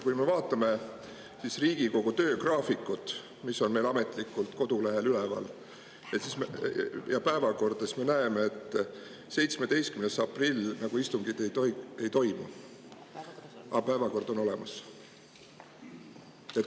Kui me vaatame Riigikogu töögraafikut, mis on meil ametlikult kodulehel üleval, ja päevakorda, siis me näeme, et 17. aprillil nagu istungit ei toimuks, aga päevakord on olemas.